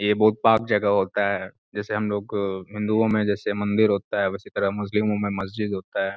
ये बहुत पाक जगह होता है जैसे हम लोग हिन्दुओं में जैसे मंदिर होता है उसी तरह मुस्लिमों में मस्जिद होता है।